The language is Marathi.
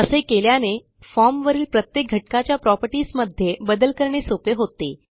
असे केल्याने फॉर्म वरील प्रत्येक घटकाच्या प्रॉपर्टीज मध्ये बदल करणे सोपे होते